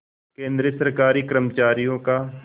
केंद्रीय सरकारी कर्मचारियों का